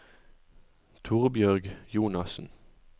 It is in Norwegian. Torbjørg Jonassen